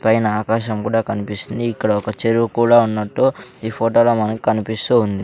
పైన ఆకాశం కూడా కనిపిస్తుంది ఇక్కడ ఒక చెరువు కూడా ఉన్నట్టు ఈ ఫోటోలో మనకి కనిపిస్తూ ఉంది.